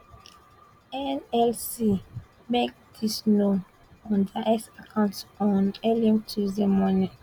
nlc make dis known on dia x account on early tuesday morning